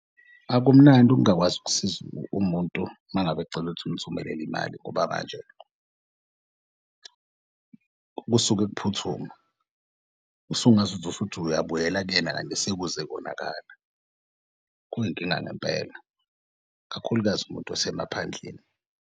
Akumnandi ukungakwazi ukusiza umuntu mangabe ecel'ukuthi umthumelele imali ngoba manje kusuke kuphuthuma usungaze uthi uyabuyela kuyena kanti sekuze konakala. Kuyinkinga ngempela kakhulukazi umuntu osemaphandleni.